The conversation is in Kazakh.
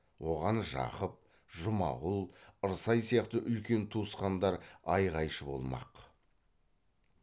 оған жақып жұмағұл ырсай сияқты үлкен туысқандар айғайшы болмақ